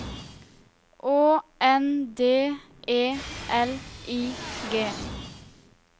Å N D E L I G